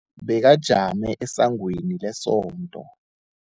Bekajame esangweni lesonto.